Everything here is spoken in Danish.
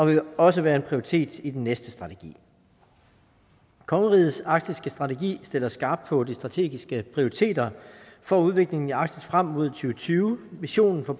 vil også være en prioritet i den næste strategi kongerigets arktiske strategi stiller skarpt på de strategiske prioriteter for udviklingen i arktis frem mod og tyve visionen for